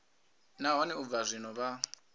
nahone u bva zwino vha